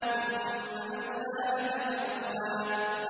ثُمَّ أَوْلَىٰ لَكَ فَأَوْلَىٰ